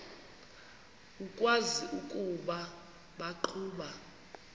ukwazi ukuba baqhuba